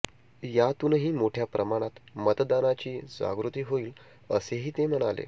यातूनही मोठ्या प्रमाणत मतदानाची जागृती होईल असेही ते म्हणाले